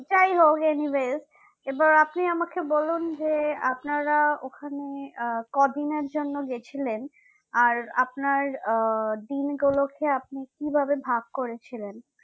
যাইহোক anyways এবার আপনি আমাকে বলুন যে আপনারা ওখানে আহ কদিনের জন্য গেছিলেন আর আপনার আহ দিনগুলোকে আপনি কি ভাবে ভাগ করে ছিলেন